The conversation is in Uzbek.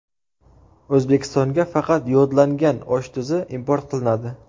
O‘zbekistonga faqat yodlangan osh tuzi import qilinadi.